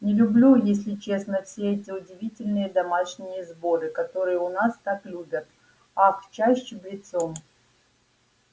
не люблю если честно все эти удивительные домашние сборы которые у нас так любят ах чай с чабрецом